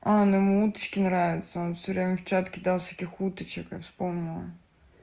а ну ему уточки нравятся он всё время в чат кидал всяких уточек я вспомнила